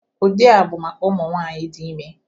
Ụdị a bụ maka ụmụ nwanyị dị ime